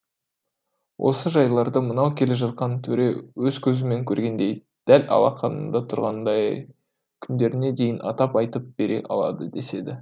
осы жайларды мынау келе жатқан төре өз көзімен көргендей дәл алақанында тұрғандай ай күндеріне дейін атап айтып бере алады деседі